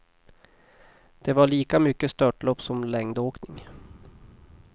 Det var lika mycket störtlopp som längdåkning.